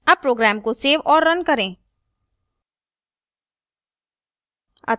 अब program को save और now करें